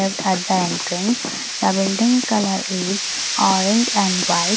lift at the entrance the building colour is orange and white.